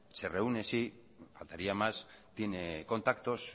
se reúne sí faltaría más tiene contactos